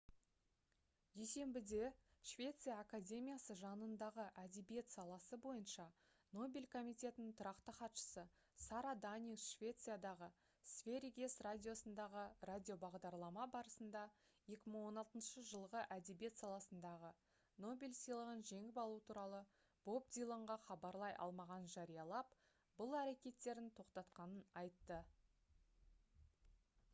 дүйсенбіде швеция академиясы жанындағы әдебиет саласы бойынша нобель комитетінің тұрақты хатшысы сара даниус швециядағы сверигес радиосындағы радиобағдарлама барысында 2016 жылғы әдебиет саласындағы нобель сыйлығын жеңіп алу туралы боб диланға хабарлай алмағанын жариялап бұл әрекеттерін тоқтатқанын айтты